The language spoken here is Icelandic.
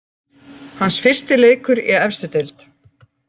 Hans fyrsti leikur í efstu deild.